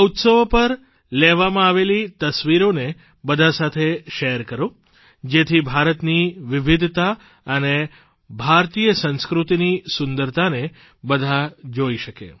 આ ઉત્સવો પર લેવામાં આવેલી તસવીરોને બધા સાથે શેર કરો જેથી ભારતની વિવિધતા અને ભારતી સંસ્કૃતિની સુંદરતાને બધા જોઇ શકે